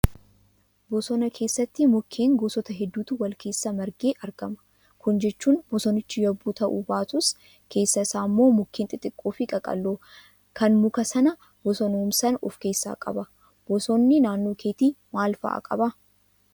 Bosona keessatti mukkeen gosoota hedduutu wal keessa margee argama. Kana jechuun bosonichi yabbuu ta'uu baatus, keessa isaa immoo mukkeen xixiqqoo fi qaqalloo kan muka sana bosonoomsan of keessaa qaba. Bosonni naannoo keetti maal fa'aa qabaa?